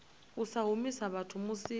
u sa humisa vhathu musi